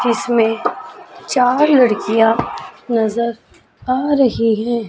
जिसमें चार लड़कियां नजर आ रही हैं।